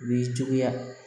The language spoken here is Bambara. U b'i cogoya